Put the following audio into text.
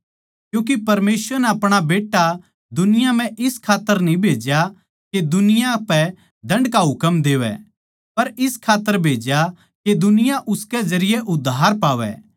क्यूँके परमेसवर नै अपणे बेट्टै ताहीं दुनिया म्ह ज्यांतै कोनी भेज्या के जगत पै दण्ड का हुकम देवै पर ज्यांतै के जगत उसकै जरिये उद्धार पावै